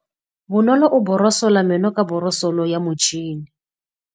Bonolô o borosola meno ka borosolo ya motšhine.